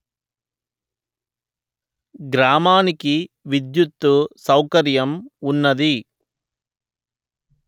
గ్రామానికి విద్యుత్తు సౌకర్యం వున్నది